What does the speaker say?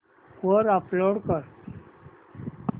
वर अपलोड कर